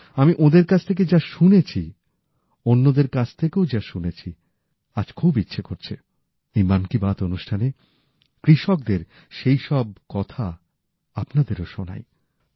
আমি ওঁদের কাছ থেকে যা শুনেছি অন্যদের কাছ থেকেও যা শুনেছি আজ খুব ইচ্ছে করছে এই মন কি বাত অনুষ্ঠানে কৃষকদের সেইসব কিছু কথা আপনাদেরও শোনাচ্ছি